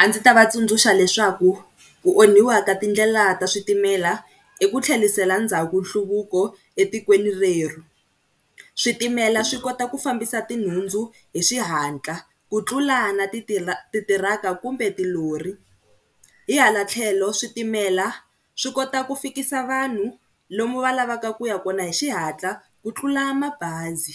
A ndzi ta va tsundzuxa leswaku ku onhiwa ka tindlela ta switimela i ku tlhelisela ndzhaku nhluvuko etikweni rerhu. Switimela swi kota ku fambisa tinhundzu hi xihatla ku tlula na tithiraka kumbe tilori. Hi hala tlhelo switimela swi kota ku fikisa vanhu lomu va lavaka ku ya kona hi xihatla ku tlula mabazi.